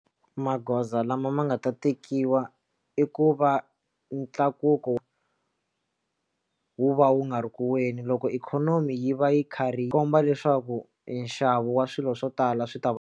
Magoza lama ma nga ta tekiwa i ku va ntlakuko wu va wu nga ri ku weni loko ikhonomi yi va yi karhi yi komba leswaku nxavo wa swilo swo tala swi ta va.